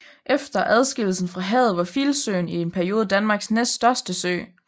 Efter adskillelsen fra havet var Filsøen i en periode Danmarks næststørste sø